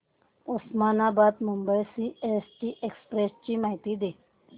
Osmanabad Mumbai CST express ची माहिती दे